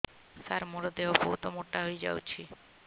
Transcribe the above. ସାର ମୋର ଦେହ ବହୁତ ମୋଟା ହୋଇଯାଉଛି